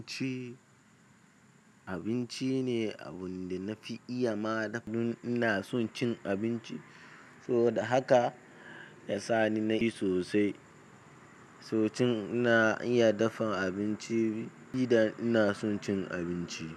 Abinci, abinci ne abun da na fi iya ma dafa don ina son cin abinci, saboda haka ya sa ni na yi sosai. To ina iya dafa abinci in ina son cin abinci.